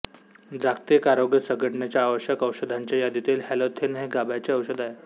जागतिक आरोग्य संघटनेच्या आवश्यक औषधांच्या यादीतील हॅलोथेन हे गाभ्याचे औषध आहे